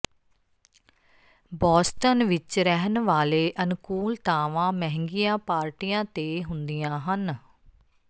Boston ਵਿਚ ਰਹਿਣ ਵਾਲੇ ਅਨੁਕੂਲਤਾਵਾਂ ਮਹਿੰਗੀਆਂ ਪਾਰਟੀਆਂ ਤੇ ਹੁੰਦੀਆਂ ਹਨ